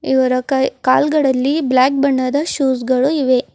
ಇವರ ಕೈ ಕಾಲ್ಗಳಲ್ಲಿ ಬ್ಲಾಕ್ ಬಣ್ಣದ ಶೂಸ್ ಗಳು ಇವೆ.